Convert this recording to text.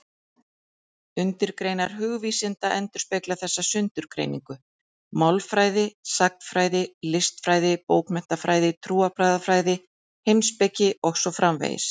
Undirgreinar hugvísinda endurspegla þessa sundurgreiningu: málfræði, sagnfræði, listfræði, bókmenntafræði, trúarbragðafræði, heimspeki og svo framvegis.